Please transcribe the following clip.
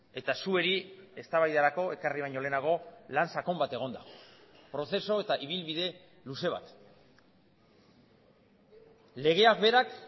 eta zuei eztabaidarako ekarri baino lehenago lan sakon bat egon da prozesu eta ibilbide luze bat legeak berak